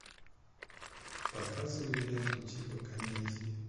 показывай ленту типа комедии